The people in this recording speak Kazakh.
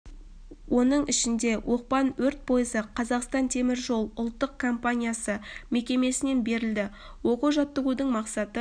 оның ішінде оқпан өрт пойызы қазақстан темір жолы ұлттық компаниясы мекемесінен берілді оқу жаттығудың мақсаты